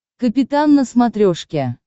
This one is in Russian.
капитан на смотрешке